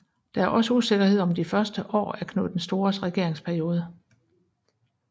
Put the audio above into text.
Der er også usikkerhed om de første år af Knud den Stores regeringsperiode